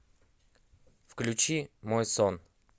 включи мой сон